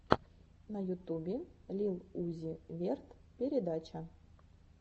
на ютубе лил узи верт передача